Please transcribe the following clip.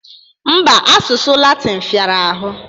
Mba, asụsụ Latịn fịara ahụ